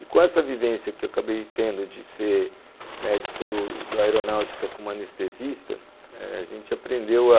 E com essa vivência que eu acabei tendo de ser médico do do aeronáutica como anestesista eh, a gente aprendeu a